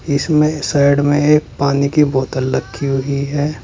इसमें साइड में एक पानी की बोतल लख्खी हुई है।